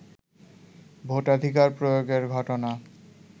ভোটাধিকার প্রয়োগের ঘটনা